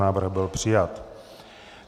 Návrh byl přijat.